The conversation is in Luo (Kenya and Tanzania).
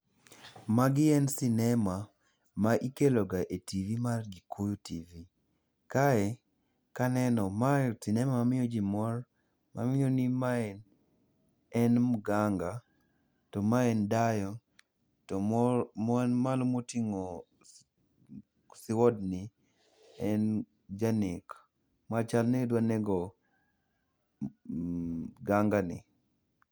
Magi en sinema ma ikeloga e tv mar Gikuyu Tv. Kae kaneno, mae sinema mamiyo ji mor, mamiyo ni ma en mganga to mae en dayo, to man malo moting'o sword ni en janek machal ni ne dwa nego mganga ni.